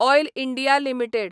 oil India limited